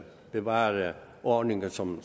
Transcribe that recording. bevare ordningen som